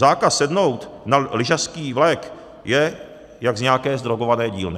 Zákaz sednout na lyžařský vlek je jak z nějaké zdrogované dílny.